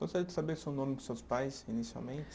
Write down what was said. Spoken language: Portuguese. Gostaria de saber só o nome dos seus pais, inicialmente?